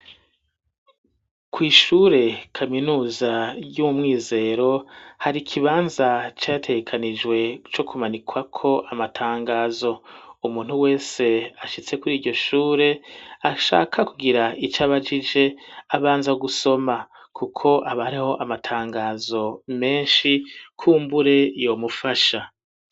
Kw'ishure kaminuza Ry'umwizero hari ikibanza categekanijwe co ku manikwako amatangazo umuntu wese ashitse kuriryo shure ashaka kugira ico abajije abanza gusoma kuko haba hariho amatangazo meshi kumbure yo mufasha